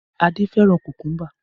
Adé fẹ́ràn kòkúḿbà.